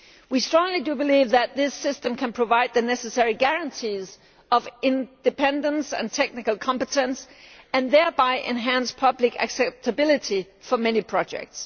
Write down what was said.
We strongly believe that this system can provide the necessary guarantees of independence and technical competence and thereby enhance public acceptability for many projects.